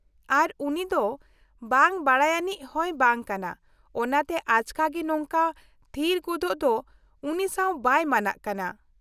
-ᱟᱨ ᱩᱱᱤ ᱫᱚ ᱵᱟᱝ ᱵᱟᱰᱟᱭᱟᱱᱤᱡ ᱦᱚᱸᱭ ᱵᱟᱝ ᱠᱟᱱᱟ, ᱚᱱᱟᱛᱮ ᱟᱪᱠᱟᱜᱮ ᱱᱚᱝᱠᱟ ᱛᱷᱤᱨ ᱜᱚᱫᱚᱜ ᱫᱚ ᱩᱱᱤ ᱥᱟᱶ ᱵᱟᱭ ᱢᱟᱱᱟᱜ ᱠᱟᱱᱟ ᱾